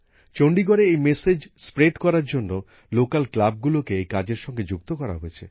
চন্ডীগড়ে এই বার্তা ছড়িয়ে দেবার জন্য স্থানীয় ক্লাবগুলোকে এই কাজের সঙ্গে যুক্ত করা হয়েছে